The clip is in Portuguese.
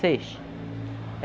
Seis.